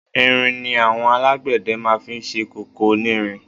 Irin ni àwọn alágbẹ̀dẹ máa fi ń ṣe kòkò onírin.